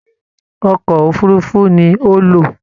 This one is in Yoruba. Ọkọ òfurùnfu ní o lo.